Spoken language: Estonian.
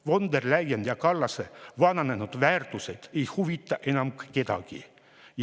Von der Leyeni ja Kallase vananenud väärtused ei huvita enam kedagi.